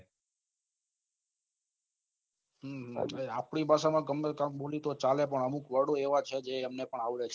હમ આપડી ભાષા માં બોલું તો ચાલે પન અમુક વર્ડ એવા છે જે એમને પન આવડે છે